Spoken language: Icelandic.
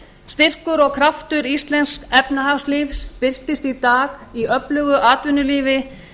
styrkur og kraftur íslensks efnahagslífs birtist í dag í öflugu atvinnulífi